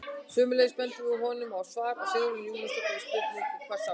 Sömuleiðis bendum við honum á svar Sigrúnar Júlíusdóttur við spurningunni Hvað er ást?